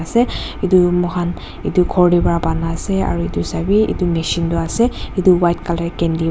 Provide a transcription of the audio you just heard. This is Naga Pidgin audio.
se edu moikhan edu khor tae pa banai ase aru edu sawe edu machine tu ase edu white colour candy --